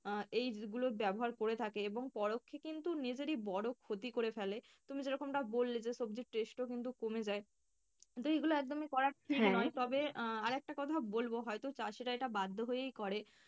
আহ এই গুলো ব্যাবহার করে থাকে এবং পরক্ষে কিন্তু নিজেরই বড় ক্ষতি করে ফেলে। তুমি যেরকমটা বললে যে সবজির taste ও কিন্তু কমে যায়, তো এইগুলো একদমই করা তবে আহ আর একটা কথাও বলবো হয়তো চাষীরা এটা বাধ্য হয়েই করে।